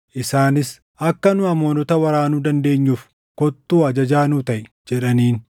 Isaanis, “Akka nu Amoonota waraanuu dandeenyuuf kottuu ajajaa nuu taʼi” jedhaniin.